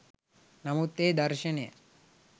නමුත් ඒ දර්ශනය